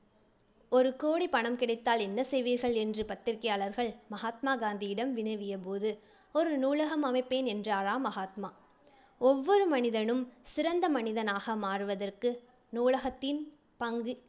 ஒரு கோடி பணம் கிடைத்தால் என்ன செய்வீர்கள் என்று பத்திரிகையாளர்கள் மகாத்மா காந்தியிடம் வினவிய போது ஒரு நூலகம் அமைப்பேன் என்றாராம் மகாத்மா. ஒவ்வொரு மனிதனும் சிறந்த மனிதனாக மாறுவதற்கு நூலகத்தின் பங்கு